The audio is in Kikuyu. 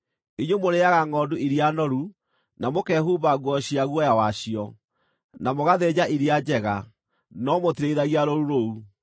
Inyuĩ mũrĩĩaga ngʼondu iria noru, na mũkehumba nguo cia guoya wacio, na mũgathĩnja iria njega, no mũtirĩithagia rũũru rũu.